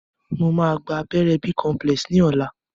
Mo máa gba abẹ́rẹ́ b-complex ni ọ̀la